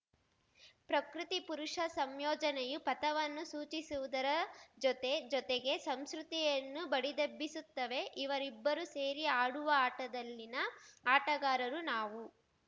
ಪ್ರಕೃತಿಪುರುಷ ಸಂಯೋಜನೆಯು ಪಥವನ್ನು ಸೂಚಿಸುವುದರ ಜೊತೆ ಜೊತೆಗೆ ಸಂಸ್ಮೃತಿಯನ್ನೂ ಬಡಿದೆಬ್ಬಿಸುತ್ತವೆ ಇವರಿಬ್ಬರು ಸೇರಿ ಆಡುವ ಆಟದಲ್ಲಿನ ಆಟಗಾರರು ನಾವು